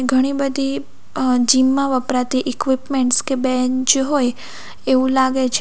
ઘણી બધી અ જીમ માં વપરાતી ઇક્વિપમેન્ટસ કે બેન્ચ હોય એવું લાગે છે.